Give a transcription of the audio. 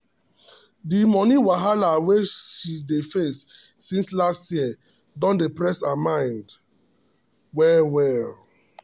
the money wahala wey she dey face since last year don dey press her mind well well.